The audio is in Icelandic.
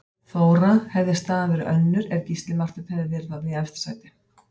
Þóra: Hefði staðan verið önnur ef Gísli Marteinn hefði verið þarna í efsta sæti?